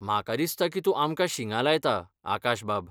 म्हाका दिसता की तूं आमकां शिंगां लायता, आकाशबाब .